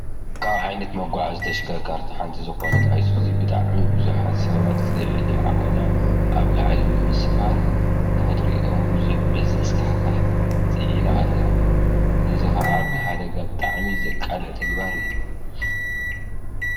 ካብ ዓይነት መጐዓዓዚ ተሽከርከርትን ሓንቲ ዝኾነት ኣይሱዙ እዙይ ብጣዕሚ ብዙሓት ሰባት ልዕሊ ዓቐና ኣብ ላዕሊ ብምስፋር ንኽትሪኦም ብዙሕ ዘስካሕክሕ ፅዒና ኣላ፡፡ እዚ ከዓ ንሓደጋ ብጣዕሚ ዘቃልዕ ተግባር እዩ፡፡